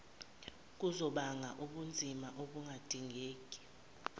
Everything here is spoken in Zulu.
kuzobanga ubunzima obungadingeki